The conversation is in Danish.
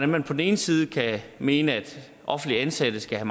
man på den ene side kan mene at offentligt ansatte skal